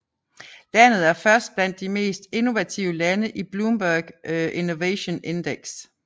Landet er først blandt de mest innovative lande i Bloomberg Innovation Index